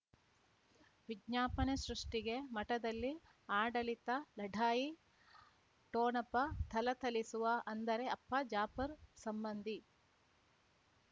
ವಿಜ್ಞಾಪನೆ ಸೃಷ್ಟಿಗೆ ಮಠದಲ್ಲಿ ಆಡಳಿತ ಲಢಾಯಿ ಠೋಣಪ ಥಳಥಳಿಸುವ ಅಂದರೆ ಅಪ್ಪ ಜಾಫರ್ ಸಂಬಂಧಿ